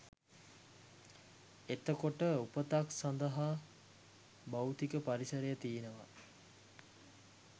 එතකොට උපතක් සඳහා භෞතික පරිසරය තියෙනවා